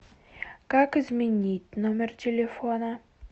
как изменить номер телефона